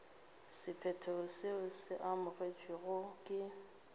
sephetho seo se amogetšwego ke